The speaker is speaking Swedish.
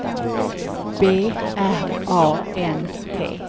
B R A N T